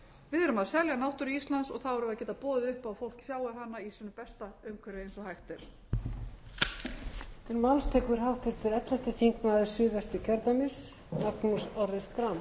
við erum að selja náttúru íslands og þá verðum við að geta boðið upp á að fólk sjái hana í sínu besta umhverfi eins og hægt er